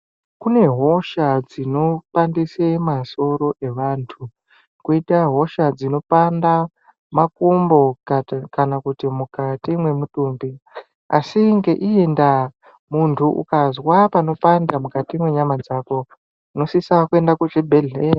Kune hosha dzinopandise masoro evanthu kwoita hosha dzinopanda makumbo kana kuti mukati mwemutumbi asi ngeii ndaa ukazwa peipanda mukati mwenyama dzako unosise kuenda kuzvibhedhleya.